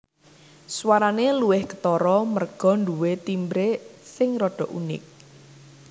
Swarane luwih ketara merga nduwe timbre sing rada unik